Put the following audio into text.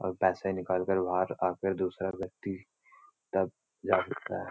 और पैसे निकालकर बाहर आ कर दूसरा व्यक्ति तब जा सकता है |